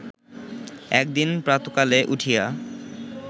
একদিন প্রাতকালে উঠিয়া